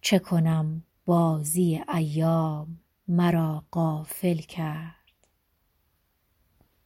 چه کنم بازی ایام مرا غافل کرد